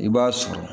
I b'a sɔrɔ